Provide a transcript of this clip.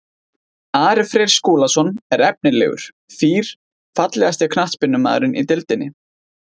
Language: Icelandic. Ari Freyr Skúlason er efnilegur fýr Fallegasti knattspyrnumaðurinn í deildinni?